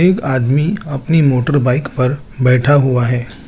एक आदमी अपनी मोटर बाइक पर बैठा हुआ है।